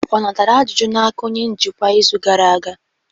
Ọ natara ajụjụ n'aka onye njikwa izu gara aga?